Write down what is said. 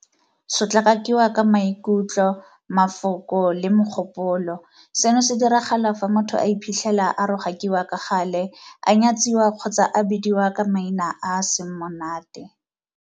Sotlakakiwa ka maikutlo, mafoko le mogopolo - Seno se diragala fa motho a iphitlhela a rogakiwa ka gale, a nyatsiwa kgotsa a bidiwa ka maina a a seng monate.